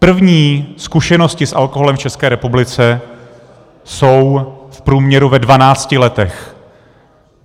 První zkušenosti s alkoholem v České republice jsou v průměru ve dvanácti letech.